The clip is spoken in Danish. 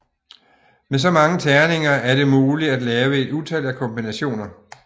Med så mange terninger er det muligt at lave et utal af kombinationer